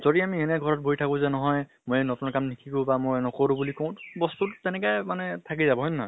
যদি আমি এনে ঘৰত বহি থাকো যে নহয় মই নতুন কাম নিশিকো বা মই নকৰো বুলি কম, বস্তুটো তেনেকা মানে থাকি যাব হয় নে নহয়?